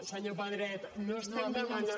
senyor pedret no estem demanant